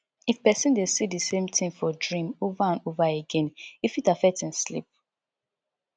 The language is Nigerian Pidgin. if person de see di same thing for dream over and over again e fit affect im sleep